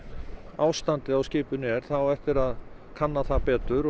ástandið á skipinu er það á eftir að kanna það betur